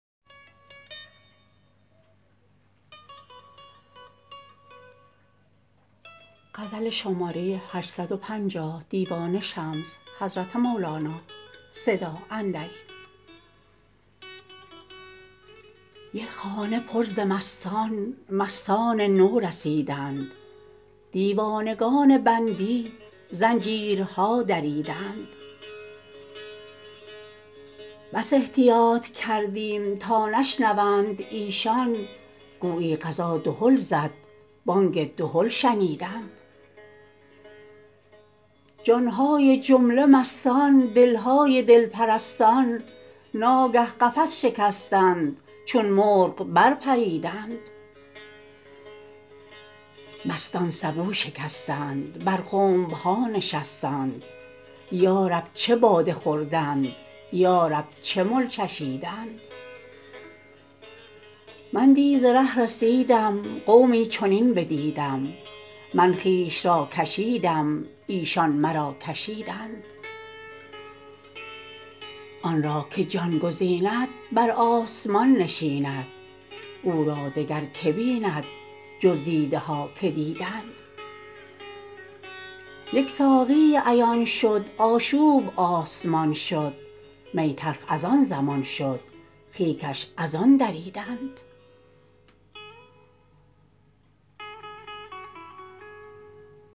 یک خانه پر ز مستان مستان نو رسیدند دیوانگان بندی زنجیرها دریدند بس احتیاط کردیم تا نشنوند ایشان گویی قضا دهل زد بانگ دهل شنیدند جان های جمله مستان دل های دل پرستان ناگه قفس شکستند چون مرغ برپریدند مستان سبو شکستند بر خنب ها نشستند یا رب چه باده خوردند یا رب چه مل چشیدند من دی ز ره رسیدم قومی چنین بدیدم من خویش را کشیدم ایشان مرا کشیدند آن را که جان گزیند بر آسمان نشیند او را دگر که بیند جز دیده ها که دیدند یک ساقیی عیان شد آشوب آسمان شد می تلخ از آن زمان شد خیکش از آن دریدند